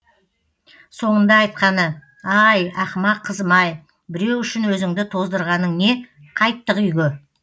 соңында айтқаны ай ақымақ қызым ай біреу үшін өзіңді тоздырғаның не қайттық үйге